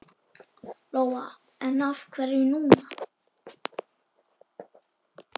Lóa: En af hverju núna?